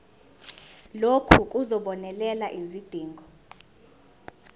lokhu kuzobonelela izidingo